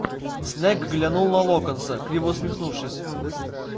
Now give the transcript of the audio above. снегг глянул на локонса криво усмехнувшись